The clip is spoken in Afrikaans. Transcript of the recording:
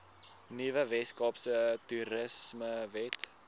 nuwe weskaapse toerismewet